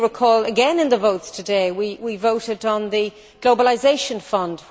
If you recall again in the votes today we voted on the Globalisation Fund.